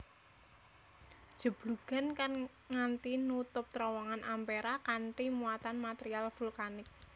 Jeblugan kang nganthi nutup terowongan Ampera kanthi muatan material vulkanik